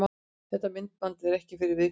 Þetta myndband er ekki fyrir viðkvæma.